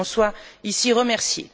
Qu'elle en soit ici remerciée.